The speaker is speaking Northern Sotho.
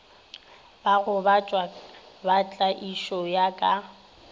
bagobatšwa ba tlaišo ya ka